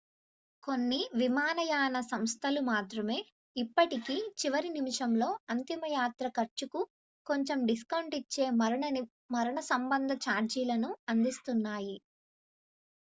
కొన్ని విమానయాన సంస్థలు మాత్రమే ఇప్పటికీ చివరి నిమిషంలో అంతిమ యాత్ర ఖర్చుకు కొంచెం డిస్కౌంట్ ఇచ్చే మరణ సంబంధ ఛార్జీలను అందిస్తున్నాయి